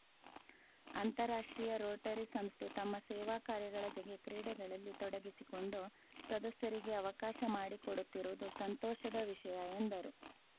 ಅಂತಾರಾಷ್ಟ್ರೀಯ ರೋಟರಿ ಸಂಸ್ಥೆ ತಮ್ಮ ಸೇವಾಕಾರ್ಯಗಳ ಜೊಗೆ ಕ್ರೀಡೆಗಳಲ್ಲಿ ತೊಡಗಿಸಿಕೊಂಡು ಸದಸ್ಯರಿಗೆ ಅವಕಾಶ ಮಾಡಿಕೊಡುತ್ತಿರುವುದು ಸಂತೋಷದ ವಿಷಯ ಎಂದರು